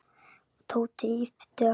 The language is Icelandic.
Tóti yppti öxlum.